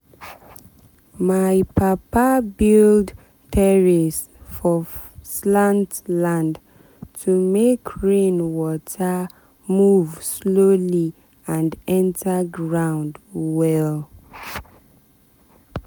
my papa build terrace for slant land to make rain water move slowly and enter ground well.